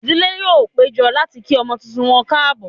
Ìdílé yóò péjọ láti kí ọmọ tuntun wọn káàbọ̀